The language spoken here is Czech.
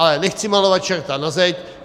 Ale nechci malovat čerta na zeď.